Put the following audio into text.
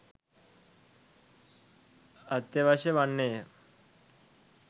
අත්‍යවශ්‍ය වන්නේය